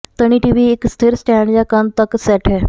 ਤਣੀ TV ਇੱਕ ਸਥਿਰ stand ਜਾਂ ਕੰਧ ਤਕ ਸੈੱਟ ਹੈ